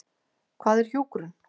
Hvað er hjúkrun?